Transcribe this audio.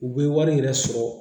U bɛ wari yɛrɛ sɔrɔ